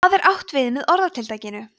hvað er átt við með orðatiltækinu